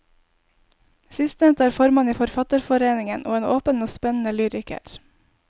Sistnevnte er formann i forfatterforeningen, og en åpen og spennende lyriker.